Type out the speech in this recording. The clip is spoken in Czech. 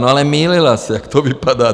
No, ale mýlila se, jak to vypadá.